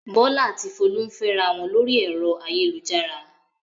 Bọ́lá a ti Folú ń fẹ́ra wọn lórí ẹ̀rọ ayélujára.